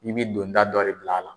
I bi donda dɔ de bila a la.